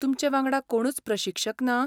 तुमचे वांगडा कोणूच प्रशिक्षक ना?